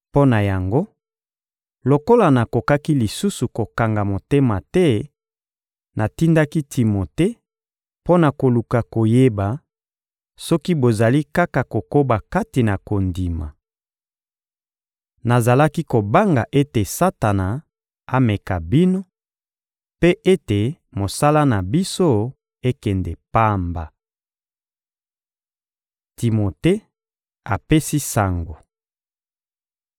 Mpo na yango, lokola nakokaki lisusu kokanga motema te, natindaki Timote mpo na koluka koyeba soki bozali kaka kokoba kati na kondima. Nazalaki kobanga ete Satana ameka bino mpe ete mosala na biso ekende pamba. Timote apesi sango